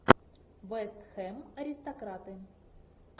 вест хэм аристократы